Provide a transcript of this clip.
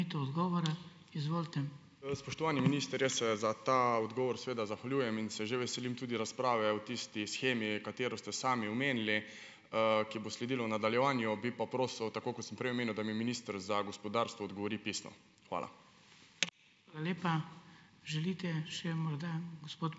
Spoštovani minister, jaz se za ta odgovor seveda zahvaljujem in se že veselim tudi razprave o tisti shemi, katero ste sami omenili, ki bo sledilo v nadaljevanju. Bi pa prosil, tako kot sem prej omenil, da mi minister za gospodarstvo odgovori pisno. Hvala.